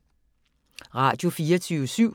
Radio24syv